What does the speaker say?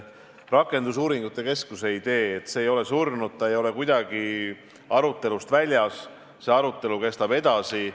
Rakendusuuringute keskuse idee ei ole surnud – see ei ole kuidagi aruteludest väljas, see arutelu kestab edasi.